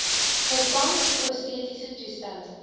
vervang prostetiese toestelle